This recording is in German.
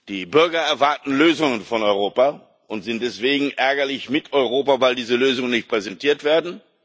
Die Bürger erwarten Lösungen von Europa und sind deswegen ärgerlich mit Europa, weil diese Lösungen nicht präsentiert werden.